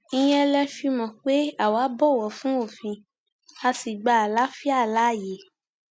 ìyẹn lé e fi mọ pé àwa bọwọ fún òfin a sì gba àlàáfíà láàyè